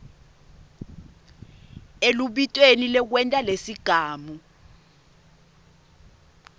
elubitweni lwekwenta lesigamu